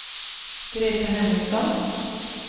Greta Henriksson